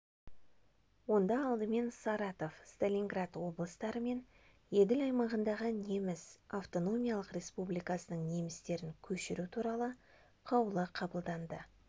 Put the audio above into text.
онда алдымен саратов сталинград облыстары мен еділ аймағындағы неміс автономиялық республикасының немістерін көшіру туралы қаулы қабылданды